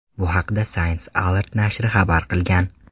Bu haqda Science Alert nashri xabar qilgan .